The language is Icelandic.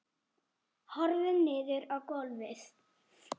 Horfir niður á gólfið.